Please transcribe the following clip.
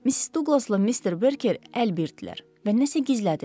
Miss Douqlasla Mr. Berker əlbirtdilər və nəsə gizlədirlər.